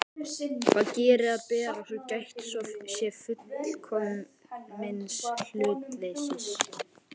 Hvað beri að gera, svo gætt sé fullkomins hlutleysis?